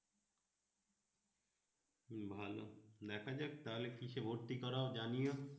হম ভালো দেখা যাক তাহলে কিসে ভর্তি করা ও জানিও